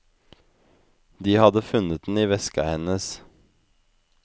De hadde funnet den i veska hennes.